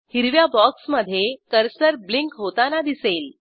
हिरव्या बॉक्समधे cursor blink होताना दिसेल